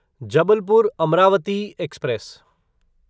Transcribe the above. Jabalpur Amravati express